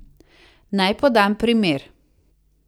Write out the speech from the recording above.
Naj podam primer.